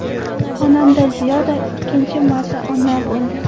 Xonanda Ziyoda ikkinchi marta ona bo‘ldi.